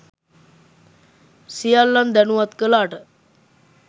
සියල්ලන් දනුවත් කලාට.